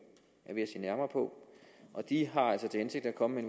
er ved at se nærmere på og de har altså til hensigt at komme med